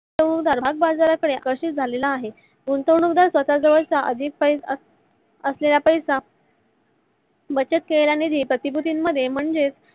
गुंतवणूक दार भागबाजरा कडे आकर्षीत झाला आहे. गुंतवणूक दार स्वत जवळ असलेला अधिक असलेला पैसा बचत करणाऱ्या प्र्तीभूतीन मध्ये म्हणजेच